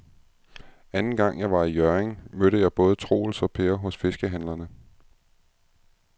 Anden gang jeg var i Hjørring, mødte jeg både Troels og Per hos fiskehandlerne.